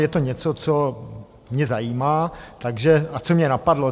Je to něco, co mě zajímá a co mě napadlo.